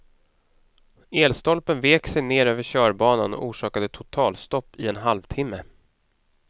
Elstolpen vek sig ner över körbanan och orsakade totalstopp i en halvtimme.